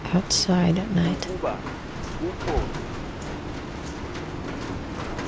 ukuba kukho nto